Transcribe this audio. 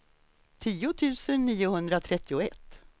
tio tusen niohundratrettioett